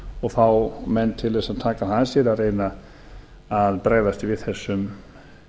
og fá menn til þess að taka það að sér að reyna að bregðast við þessum